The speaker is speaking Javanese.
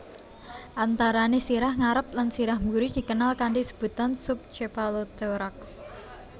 Antarané sirah ngarep lan sirah buri dikenal kanthi sebutan sub chepalothorax